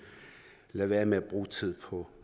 lad være med at bruge tid på